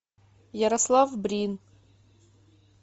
ярослав брин